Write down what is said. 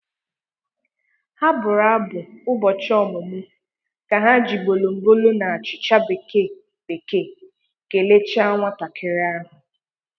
Ha bụrụ abụ ụbọchị ọ̀mụ́mụ́ ka ha ji bolombolo na achịcha bekee bekee kelecha nwatakịrị ahụ